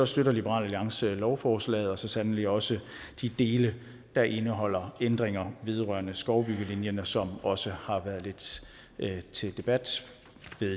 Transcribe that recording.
støtter liberal alliance lovforslaget og så sandelig også de dele der indeholder ændringer vedrørende skovbyggelinjen som også har været lidt til debat